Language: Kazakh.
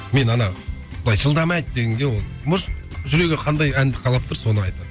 мен ана былай жылдам айт дегенге ол может жүрегі қандай әнді қалап тұр соны айтады